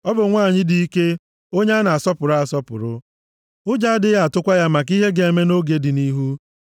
Ọ bụ nwanyị dị ike, onye a na-asọpụrụ asọpụrụ. Ụjọ adịghị atụkwa ya maka ihe ga-eme nʼoge dị nʼihu.